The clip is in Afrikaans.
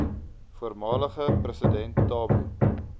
voormalige president thabo